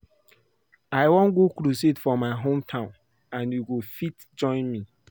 I wan go crusade for my hometown and you go fit join me